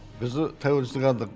біз тәуелсіздік алдық